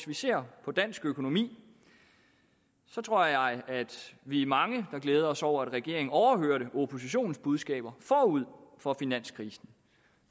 vi ser på dansk økonomi tror jeg vi er mange der glæder os over at regeringen overhørte oppositionens budskaber forud for finanskrisen